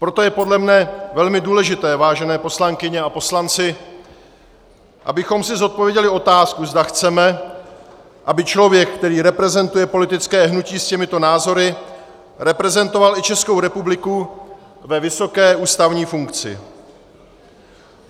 Proto je podle mne velmi důležité, vážené poslankyně a poslanci, abychom si zodpověděli otázku, zda chceme, aby člověk, který reprezentuje politické hnutí s těmito názory, reprezentoval i Českou republiku ve vysoké ústavní funkci.